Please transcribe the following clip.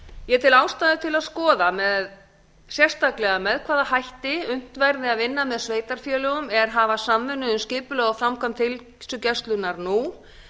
ég tel ástæðu til að skoða sérstaklega með hvaða hætti unnt verði að vinna með sveitarfélögum er hafa samvinnu um skipulag og framkvæmd heilsugæslunnar nú